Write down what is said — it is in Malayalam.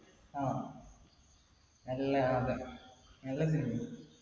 ആ നല്ല cinema യാത്.